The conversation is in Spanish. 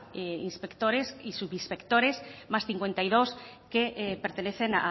inspectores y subinspectores más cincuenta y dos que pertenecen